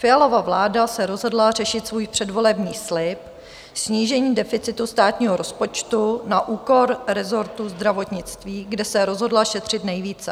Fialova vláda se rozhodla řešit svůj předvolební slib - snížení deficitu státního rozpočtu - na úkor resortu zdravotnictví, kde se rozhodla šetřit nejvíce.